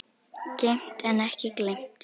Geymt en ekki gleymt!